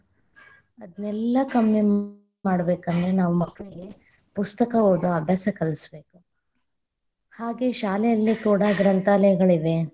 ಅದ್ನೆಲ್ಲಾ ಕಮ್ಮಿ ಮಾಡಬೇಕ ಅಂದ್ರ ನಾವ್‌ ಮಕ್ಕಳಿಗೆ ಪುಸ್ತಕ ಓದೊ ಅಭ್ತಾಸ ಕಲ್ಸ್ಬೇಕು, ಹಾಗೆ ಶಾಲೆಯಲ್ಲೂ ಕೂಡಾ ಗ್ರಂಥಾಲಯಗಳಿವೆ.